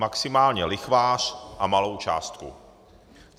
Maximálně lichvář a malou částku.